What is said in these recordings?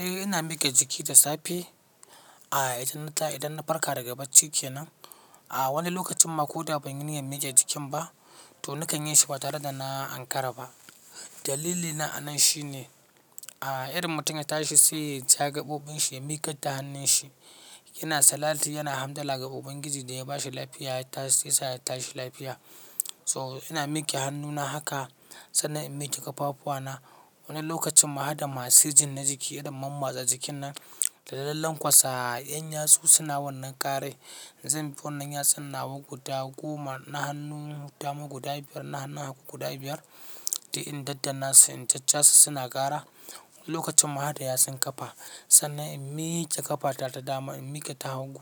Eh ina miƙe jiki da safe, a idan na idan na farka daga bacci kenan. A wani lokacin ma ko da ban yi niyyar miƙe jikin ba to nakan yi shi ba tare da na Ankara ba. Dalili na a nan shi ne, a irin mutum ya tashi sai ya ja gaɓoɓin shi ya miƙar da hannun shi yana salati yana hamdala ga Ubangiji da ya ba shi lafiya ya tashi ya sa ya tashi lafiya. So ina miƙe hannuna haka sannan in miƙe ƙafafuwa na. Wani lokacin ma hada masu jiin na jiki irin mammatsa jikin nan da lallan ƙwasa. Yan yatsu suna wannan ƙarar. Zan bi wannan yatsun nawa guda goma, na hannun dama guda biyar na hannun hagu guda biyar. Duk in dandanna su in jajjasu suna ƙara. Wani lokacin ma hada yatsun ƙafa sannan in miƙe ƙafata ta dama in miƙe ta hagu,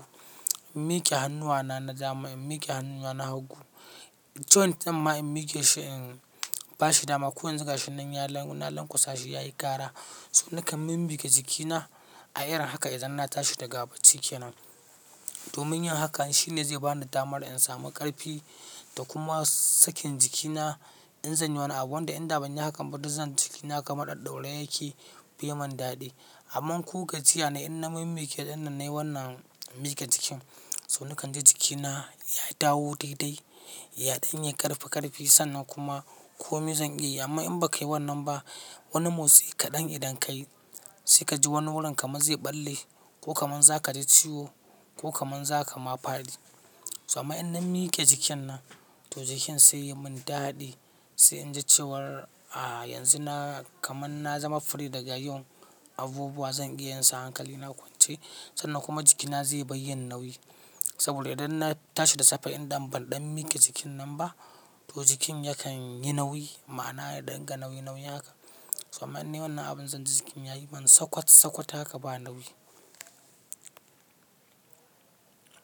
in miƙe hannuwa na na dama in miƙe hannuwa na hagu. Joint ɗin ma in miƙe shi in ba shi dama ko yanzu gashi nan ya na lanƙwasa shi yayi ƙara. So nakan min miƙe jikina a irin haka idan na tashi daga baciki nan. Domin yin hakan shine zai bani damar in samu ƙarfi da kuma sakin jikina in zanyi wani abu. Wanda inda banyi hakan ba duk zanji jiki na kamar ɗaɗɗaure yake bai mun daɗi. Amman ko gajiya nai in na min miƙe idan na nayi wannan miƙe jikin so nakan ji jikina ya dawo daidai, yaɗan yi ƙarfi-ƙarfi sannan kuma komai zan iya yi. Amma in ba kai wannan ba wani motsi kaɗan idan ka yi sai ka ji wani wurin kamar zai ɓalle ko kamar za ka ji ciwo ko kamar za ka mafadi. So amma in na miƙe jikin nan to jikin sai yai mun daɗi sai in ji cewar a yanzu na kamar na zama free daga yin abubuwa zan iya yin su hankali na kwance. Sannan kuma jikina zai bar yin nauyi. Saboda idan na tashi da safe idan ban ɗan miƙe jikin nan ba to jikin yakan yi nauyi. Ma'ana ya dinga nauyi nauyi haka. To amman inne wannan abin zan ji jikin ya yi man sakwat sakwat haka ba nauyi.